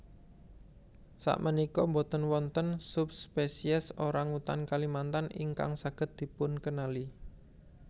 Sakmenika boten wonten subspéciés orangutan Kalimantan ingkang saged dipunkenali